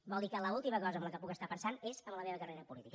vol dir que l’última cosa en la qual puc estar pensant és en la meva carrera política